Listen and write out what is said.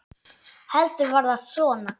Heldur var það svona!